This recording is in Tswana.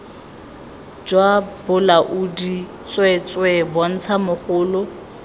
jwa bolaodi tsweetswee bontsha mogolo